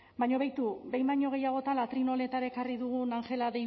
baina beitu behin baino gehiagotan atril honetara ekarri dugun angela